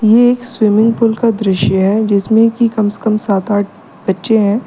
ये एक swimming pool का दृश्य है जिसमें की कम से कम सात आठ बच्चे हैं।